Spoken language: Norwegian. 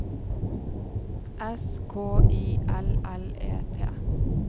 S K I L L E T